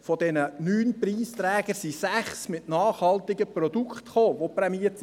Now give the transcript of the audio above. Von den neun Preisträgern haben sechs nachhaltige Produkte eingebracht, die prämiert wurden.